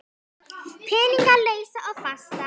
Peninga lausa og fasta?